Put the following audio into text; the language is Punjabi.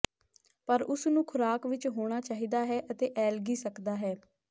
ਪਰ ਉਸ ਨੂੰ ਖੁਰਾਕ ਵਿੱਚ ਹੋਣਾ ਚਾਹੀਦਾ ਹੈ ਅਤੇ ਐਲਗੀ ਸਕਦਾ ਹੈ